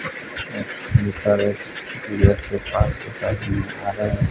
ऊपर एक गेट के पास है।